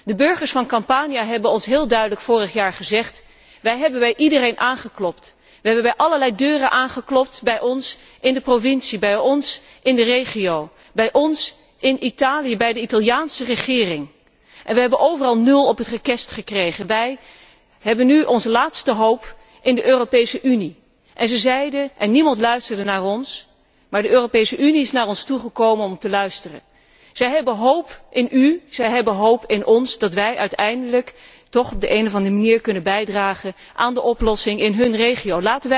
De burgers van Campanië hebben ons heel duidelijk vorig jaar gezegd wij hebben bij iedereen aangeklopt, wij hebben bij allerlei deuren aangeklopt, bij ons in de provincie, bij ons in de regio, bij ons in Italië, bij de Italiaanse regering en we hebben overal nul op het rekest gekregen. Onze laatste hoop is de Europese Unie en terwijl niemand naar ons luisterde is de Europese Unie naar ons toegekomen om te luisteren. Ze hebben de hoop op u en ons gevestigd in de hoop dat wij uiteindelijk toch op de een of andere manier kunnen bijdragen aan een oplossing in hun regio.